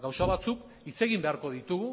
gauza batzuk hitz egin beharko ditugu